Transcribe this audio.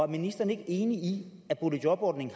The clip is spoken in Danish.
ministeren ikke enig i at boligjobordningen